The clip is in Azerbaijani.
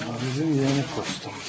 Bizim yeni postumuz.